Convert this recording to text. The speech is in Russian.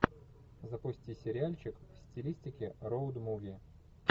запусти сериальчик в стилистике роуд муви